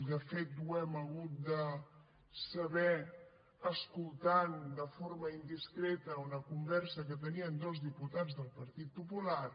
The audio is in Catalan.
de fet ho hem hagut de saber escoltant de forma indiscreta una conversa que tenien dos diputats del partit popular